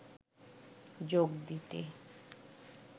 যোগ দিতে